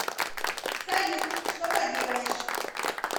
салют что поделаешь